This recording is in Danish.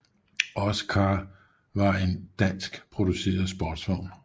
OScar var en dansk produceret sportsvogn